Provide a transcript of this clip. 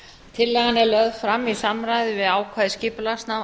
tillagan er lögð fram í samræmi við ákvæði skipulagslaga